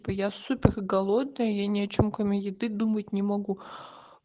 я супер голодный я ни о чем кроме еды думать не могу